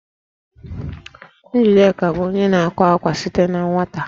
Njideka bụ onye na-akwa akwa site na nwata